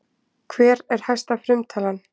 Hver er hæsta frumtalan?